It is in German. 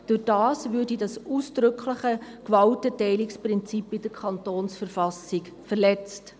Dadurch würde das in der Verfassung des Kantons Bern (KV) ausdrückliche Gewaltenteilungsprinzip verletzt.